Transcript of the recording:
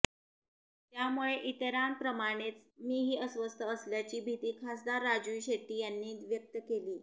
त्यामुळे इतराप्रमाणेच मीही अस्वस्थ असल्याची भीती खासदार राजू शेट्टी यांनी व्यक्त केली